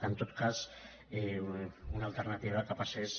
en tot cas una alternativa que passés